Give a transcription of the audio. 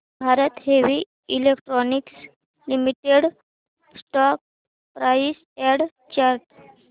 Bharat heavy electricals limited stock price and chart